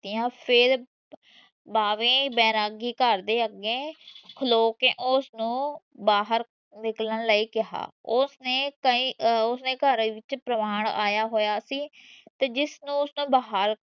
ਮਾਰੀਆਂ ਫੇਰ ਪਾਵੇਂ ਬੈਰਾਗੀ ਘਰ ਦੇ ਅਗੇ ਖਲੋ ਕੇ ਉਸ ਨੂੰ ਬਾਹਰ ਨਿਕਲਣ ਲਈ ਕਿਹਾ। ਉਸ ਨੇ ਕਯੀ ਅਹ ਉਸ ਨੇ ਘਰਾਂ ਵਿੱਚ ਪਰਮਾਣ ਆਇਆ ਹੋਇਆ ਸੀ ਤੇ ਜਿਸਨੇ ਉਸਨੂੰ ਬਾਹਰ